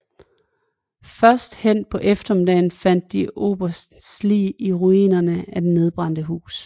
Først hen på eftermiddagen fandt de oberstens lig i ruinerne af det nedbrændte hus